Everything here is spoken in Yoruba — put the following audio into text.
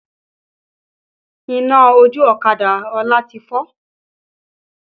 Iná ojú ọ̀kadà Ọlá ti fọ́